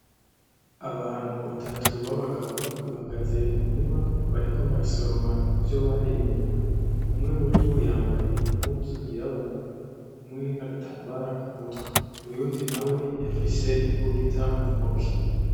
Abantu batatu b'abagabo bahagaze mu murima bariko barasoroma ivyo barimye, umwe muribo bambaye impuzu y'irabura hamwe n'agatambara kumutwe, uyundi nawe afise imbugita muntoke.